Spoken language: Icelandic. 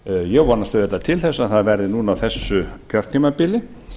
ég vonast auðvitað til þess að það verði núna á þessu kjörtímabili